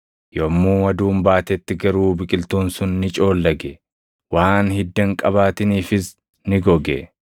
Yommuu aduun baatetti garuu biqiltuun sun ni coollage; waan hidda hin qabaatiniifis ni goge.